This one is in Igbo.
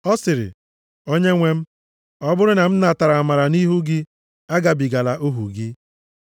Ọ sịrị, “Onyenwe m, ọ bụrụ na m natara amara nʼihu gị, agabigala ohu gị.